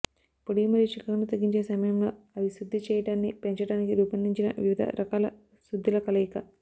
పొడి మరియు చికాకును తగ్గించే సమయంలో అవి శుద్ది చేయడాన్ని పెంచడానికి రూపొందించిన వివిధ రకాల శుద్దిల కలయిక